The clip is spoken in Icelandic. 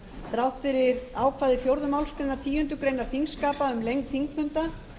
þrátt fyrir ákvæði fjórðu málsgreinar tíundu greinar þingskapa um lengd þingfunda